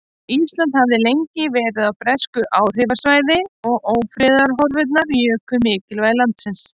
Ísland hafði lengi verið á bresku áhrifasvæði og ófriðarhorfurnar juku mikilvægi landsins.